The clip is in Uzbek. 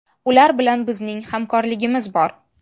Ular bilan bizning hamkorligimiz bor.